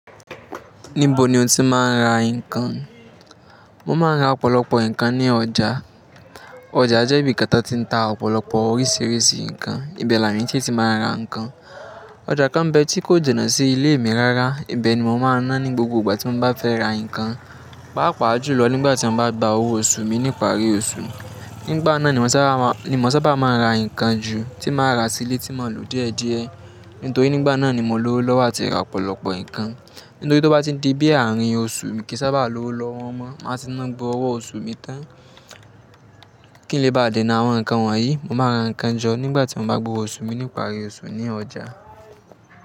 Níbo ni o ti máa ń ra nǹkan? Mo máa ń ra ọ̀pọ̀lọpọ̀ ǹkan ní ọjà. Ọjà jẹ́ ibi kátá tań ti n ta ọ̀pọ̀lọpọ̀ oríṣiríṣi ǹkan. Ìbẹ̀ làwon eeyan sí ti máa ń ra ǹkan. Ọjà kan ń bẹ tí kò jinà sí ilé mi rárá, Ìbẹ̀ ni mo máa ńa ní gbogbo ìgbà tí mo bá fẹ́ ra ǹkan. Pàápa julọ nígbà tí mo bá gba owó oṣù mi nípari oṣù. Nígbà náà ni mò sábà máa ń ra ǹkan ju tí màá rà sílé tí mo lò díẹ̀díẹ̀. Nítorí nígbà náà ni mo lówo lọ́wọ́ àti ra ọ̀pọ̀lọpọ̀ ǹkan. Nítorí tó bá ti n di bí ààrín oṣù mi kì í sábà lówo lọ́wọ́ mọ. Máa ti ńa gbogbo owó oṣù mi tán. Kí n lè bá dènà àwọn ǹkan wọ̀nyí, mo máa ra ǹkan jọ nígbà tí mo bá gbowo oṣù mi nípari oṣù ní ọjà.